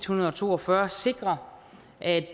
hundrede og to og fyrre sikre at